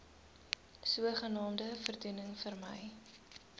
sogenaamde voordoening vermy